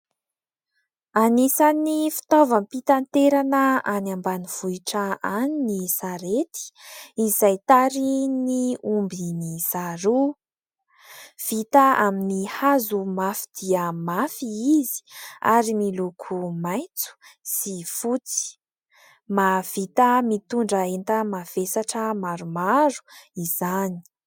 Aisan'ny fitaovam-pitanterana any ambanivohitra any ny sarety, izay tarihin'ny omby miisa roa. Vita amin'ny hazo mafy dia mafy izy ary miloko maitso sy fotsy. Mahavita mitondra enta-mavesatra maromaro izany.